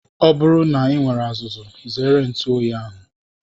Ọ bụrụ na I nwere azuzu zere ntụ oyi ahụ.